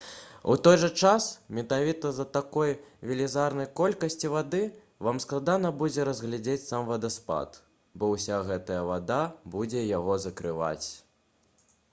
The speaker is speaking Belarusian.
у той жа час менавіта з-за такой велізарнай колькасці вады вам складана будзе разглядзець сам вадаспад бо ўся гэтая вада будзе яго закрываць